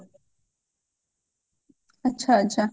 ଆଛା ଆଛା